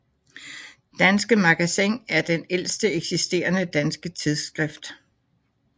Danske Magazin er det ældste eksisterende danske tidsskrift